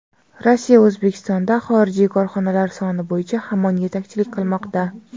Rossiya O‘zbekistonda xorijiy korxonalar soni bo‘yicha hamon yetakchilik qilmoqda.